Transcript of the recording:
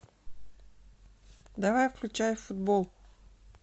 давай включай футбол